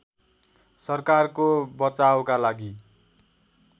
सरकारको बचावका लागि